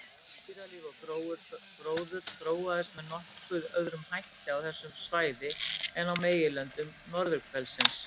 Dýralíf og gróður þróaðist með nokkuð öðrum hætti á þessu svæði en á meginlöndum norðurhvelsins.